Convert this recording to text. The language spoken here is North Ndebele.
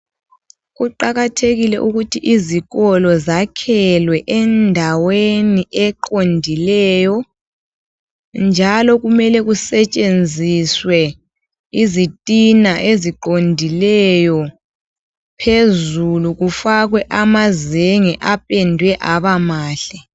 Kuqakathekile ukuthi izikolo zakhelwe endaweni eqondileyo njalo kumele kusetshenziswe izitina eziqondileyo phezulu kufakwe amazenge apendwe aba mahle.